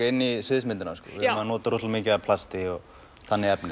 inn í sviðsmyndina við notum mikið af plasti og þannig efni